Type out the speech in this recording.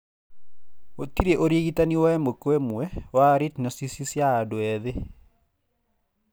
Gũtirĩ ũrigitani wa ĩmwe kwa ĩmwe wa retinoschisis ya andũ ethĩ.